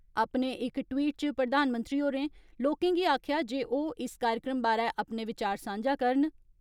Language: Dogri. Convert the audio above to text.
अपने इक ट्वीट च प्रधानमंत्री होरें लोकें गी आक्खेआ ऐ जे ओह् इस कार्यक्रम बारै अपने विचार सांझा करन।